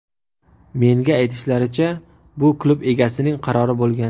Menga aytishlaricha, bu klub egasining qarori bo‘lgan.